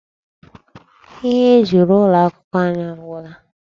Ihe eji rụọ ụlọ akwụkwọ anyị agwụla.